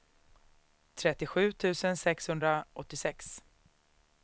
trettiosju tusen sexhundraåttiosex